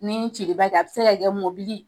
Ni cili ba tɛ a be se ka kɛ mobili